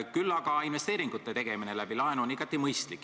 Küll aga on investeeringute tegemine laenu abil igati mõistlik.